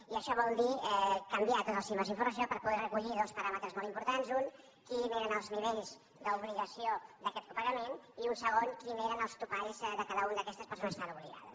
i això vol dir canviar tots els sistemes d’informació per poder recollir dos paràmetres molt importants un quins eren els nivells d’obligació d’aquest copagament i un segon quins eren els topalls de cada una d’aquestes persones que hi estaven obligades